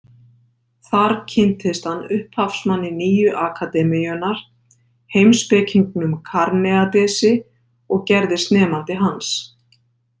Þar kynntist hann upphafsmanni nýju akademíunnar, heimspekingnum Karneadesi, og gerðist nemandi hans.